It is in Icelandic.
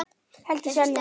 Helgi Seljan.